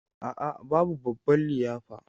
A'a, babu babban liyafa.